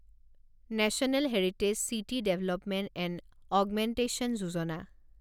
national heritage city development and augmentation Yojana